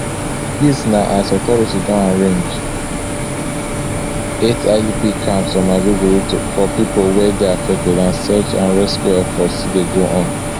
dis na as authorities don arrange eight idp camps for maiduguri for pipo wey dey affected and search and rescue efforts still dey go on